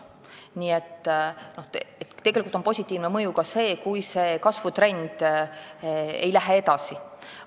Nii et tegelikult on positiivne mõju ka see, kui kasvutrend ei püsi.